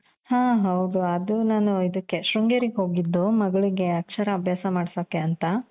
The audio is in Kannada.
ಹ ಹೌದು ಅದು ನಾನು ಇದುಕೆ ಶೃಂಗೇರಿಗೆ ಹೋಗಿದ್ದು ಮಗಳ್ಗೆ ಅಕ್ಷರ ಅಭ್ಯಾಸ ಮಾಡ್ಸೋಕೆ ಅಂತ